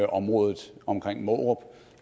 området omkring mårup